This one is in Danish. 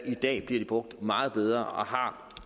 i dag bliver de brugt meget bedre og har